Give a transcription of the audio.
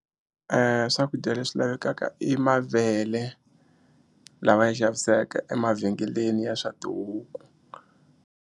Swakudya leswi lavekaka i mavele lama ya xavisaka emavhengeleni ya swa tihuku.